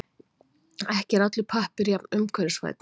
Ekki er allur pappír jafn umhverfisvænn.